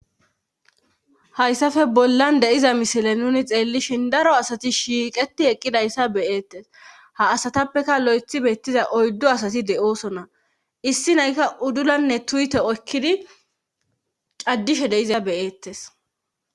hayssafe bollan deiza misile nuni xeellishin daro asati shiiqeti eqqidayssa beyeettes ha asatappeka lo7ethi beettiza oyddo asati de7oosona issi naykka uddulanne tuyte oykkidi caddishe deiza beyeettes